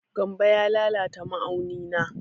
Gambo ya lalata ma'auni na.